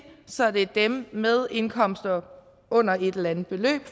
så det er dem med en indkomst under et eller andet beløb